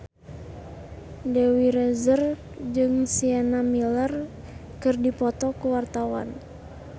Dewi Rezer jeung Sienna Miller keur dipoto ku wartawan